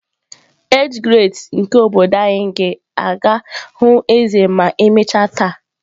Age grades nke obodo anyị ga-aga hụ eze ma emechaa taa